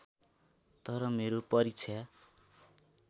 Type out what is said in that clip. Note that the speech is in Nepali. तर मेरो परीक्षा